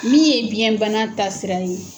Min ye biyɛnbana ta sira ye.